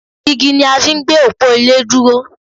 Igi ni a fi ń gbé òpó ilé dúró